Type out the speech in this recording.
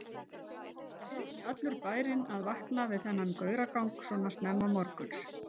Hlyti ekki allur bærinn að vakna við þennan gauragang svo snemma morguns?